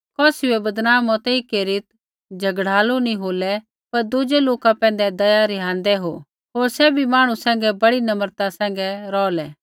कौसी बै बदनाम मतेई केरीत् झ़गड़ालू नी होलै पर दुज़ै लोका पैंधै दया रिहान्दा हो होर सैभी मांहणु सैंघै बड़ी नम्रता सैंघै रौहला